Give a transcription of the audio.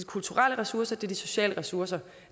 kulturelle ressourcer det de sociale ressourcer